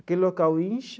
Aquele local incha,